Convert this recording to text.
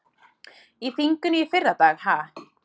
Í þinginu í fyrradag ha?